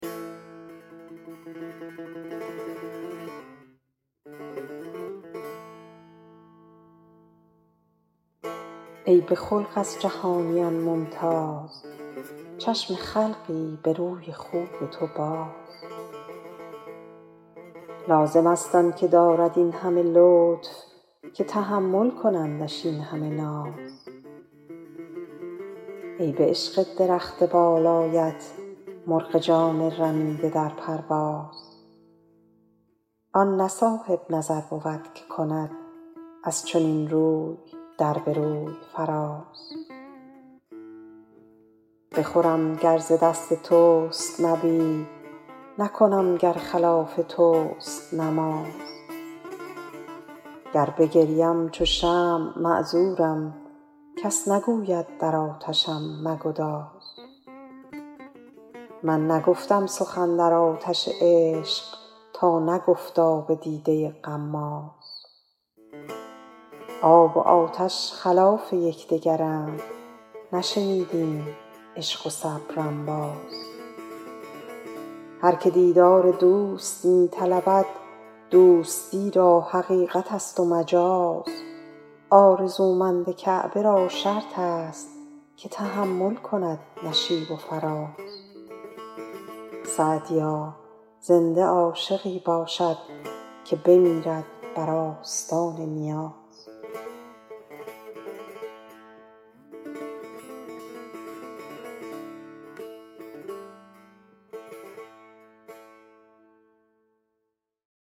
ای به خلق از جهانیان ممتاز چشم خلقی به روی خوب تو باز لازم است آن که دارد این همه لطف که تحمل کنندش این همه ناز ای به عشق درخت بالایت مرغ جان رمیده در پرواز آن نه صاحب نظر بود که کند از چنین روی در به روی فراز بخورم گر ز دست توست نبید نکنم گر خلاف توست نماز گر بگریم چو شمع معذورم کس نگوید در آتشم مگداز می نگفتم سخن در آتش عشق تا نگفت آب دیده غماز آب و آتش خلاف یک دگرند نشنیدیم عشق و صبر انباز هر که دیدار دوست می طلبد دوستی را حقیقت است و مجاز آرزومند کعبه را شرط است که تحمل کند نشیب و فراز سعدیا زنده عاشقی باشد که بمیرد بر آستان نیاز